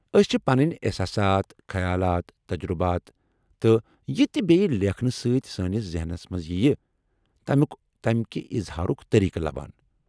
أسۍ چھِ پنٕنۍ احساسات، خیالات، تجربات، تہٕ یہِ تِہ بییہِ لیكھنہٕ سۭتۍ سٲنِس ذہنس منٛز ییٚیہِ ، تٔمُیٚک تٔمۍكہِ اظہارُك طریقہٕ لبان ۔